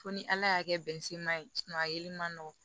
Fo ni ala y'a kɛ bɛnisiman ye a yeli ma nɔgɔ